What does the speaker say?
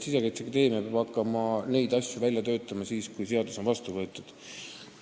Sisekaitseakadeemia peab hakkama neid asju siis välja töötama, kui seadus on vastu võetud.